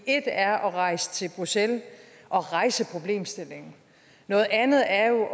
ét er at rejse til bruxelles og rejse problemstillingen noget andet er jo